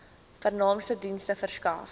vernaamste dienste verskaf